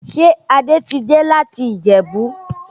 Ṣé Adé ti dé láti Ìjẹ̀bú?